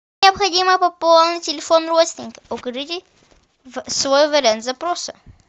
необходимо пополнить телефон родственника укажите свой вариант запроса